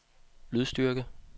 lydstyrke